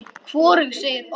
Hvorug segir orð.